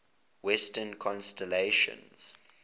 western constellations